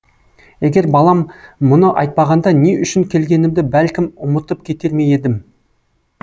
егер балам мұны айтпағанда не үшін келгенімді бәлкім ұмытып кетер ме едім